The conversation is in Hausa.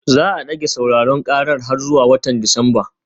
Za a dage sauraron karar har zuwa watan Disamba